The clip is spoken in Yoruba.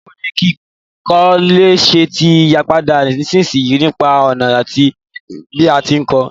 Báwoni kíkọ́lé se ti yípadà nísinsìyí nípa ònà àti bí a ti n ko